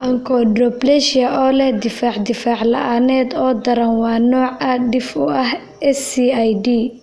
Achondroplasia oo leh difaac difaac la'aaneed oo daran waa nooc aad dhif u ah SCID.